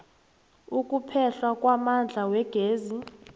ukuphehlwa kwamandla wegezi